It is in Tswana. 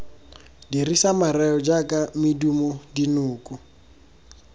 dirisa mareo jaaka medumo dinoko